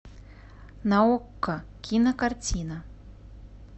на окко кинокартина